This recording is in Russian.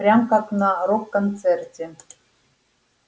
прям как на рок-концерте